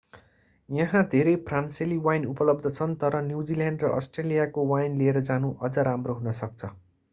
यहाँ धेरै फ्रान्सेली वाइन उपलब्ध छन् तर न्युजिल्यान्ड र अस्ट्रेलियाको वाइन लिएर जानु अझ राम्रो हुन सक्छ